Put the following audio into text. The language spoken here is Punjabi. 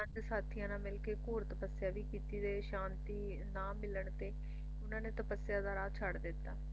ਪੰਜ ਸਾਥੀਆਂ ਨਾਲ ਮਿਲਕੇ ਘੋਰ ਤੱਪਸਿਆ ਵੀ ਕੀਤੀ ਤੇ ਸ਼ਾਂਤੀ ਨਾ ਮਿਲਣ ਤੇ ਉਹਨਾਂ ਨੇ ਤੱਪਸਿਆ ਦਾ ਰਾਹ ਛੱਡ ਦਿੱਤਾ